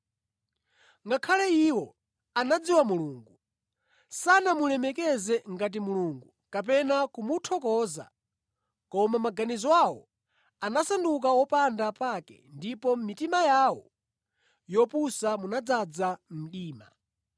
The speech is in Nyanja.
Ngakhale iwo anadziwa Mulungu, sanamulemekeze ngati Mulungu kapena kumuthokoza, koma maganizo awo anasanduka wopanda pake ndipo mʼmitima yawo yopusa munadzaza mdima.